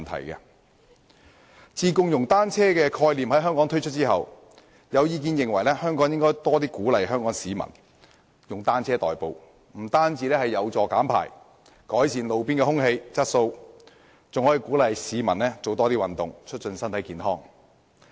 自香港推出"共融單車"的概念後，有意見認為政府應更鼓勵香港市民使用單車代步，這樣不但有助減排和改善路邊空氣質素，還可以鼓勵市民多做運動，促進身體健康。